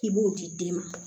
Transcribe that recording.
K'i b'o di den ma